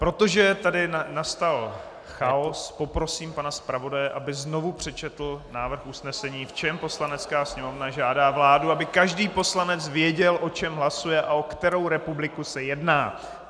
Protože tady nastal chaos, poprosím pana zpravodaje, aby znovu přečetl návrh usnesení, v čem Poslanecká sněmovna žádá vládu, aby každý poslanec věděl, o čem hlasuje a o kterou republiku se jedná.